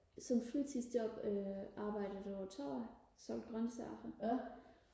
som fritidsjob øh arbejdet på torvet som grøntsælger